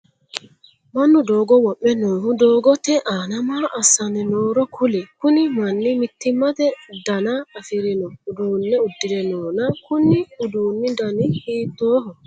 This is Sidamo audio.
Mannu doogo wo'me noohu doogote aanna maa assanni nooro kuli? Kunni manni mitimate danna afirino uduune udire noonna konni uduunni danni hiittooho?